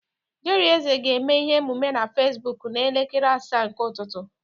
Jerry Eze ga-eme ihe omume na Fesbụk n'elekere asaa nke ụtụtụ.